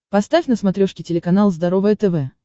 поставь на смотрешке телеканал здоровое тв